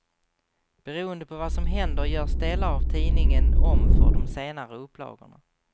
Beroende på vad som händer görs delar av tidningen om för de senare upplagorna.